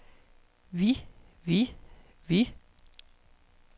vi vi vi